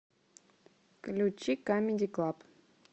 включи камеди клаб